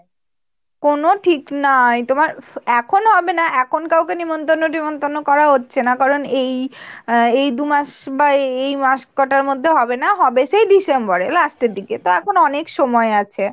কোনো ঠিক নাই তোমার এখন ও হবে না এখন কাউকে নেমন্তন্ন টেমন্তন্ন করা হচ্ছে না কারন এই আহ এই দুমাস বা এই মাস কটার মধ্যে হবে না হবে সেই ডিসেম্বরের last এর দিকে। তো এখন অনেক সময় আছে।